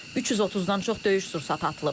330-dan çox döyüş sursatı atılıb.